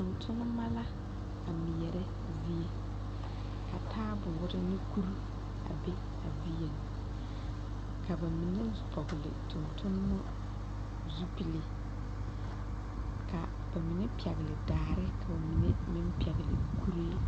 Tontonma la a meɛrɛ zie ka taaboore ne kuri a biŋ a zieŋ ka ba mine vɔgle tontonma zupile ka ba mine pɛgle daare ka ba mine meŋ pɛgle kuree.